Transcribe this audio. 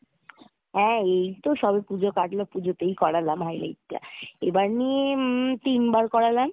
এই তো সবে পুজো কাটলো পুজোতেই করালাম highlight টা এবার নিয়ে উম তিনবার করলাম।